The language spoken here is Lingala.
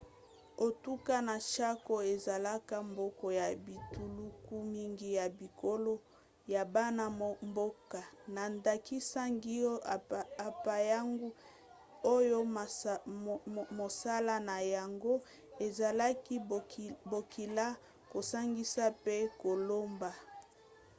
etuka ya chaco ezalaka mboka ya bituluku mingi ya bikolo ya bana-mboka na ndakisa guaycurú na payaguá oyo mosala na yango ezalaki bokila kosangisa mpe koloba